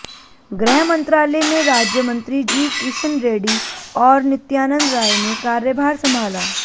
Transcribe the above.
गृह मंत्रालय में राज्य मंत्री जी किशन रेड्डी और नित्यानंद राय ने कार्यभार संभाला